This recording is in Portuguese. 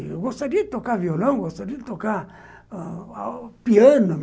Eu gostaria de tocar violão, gostaria de tocar ãh piano.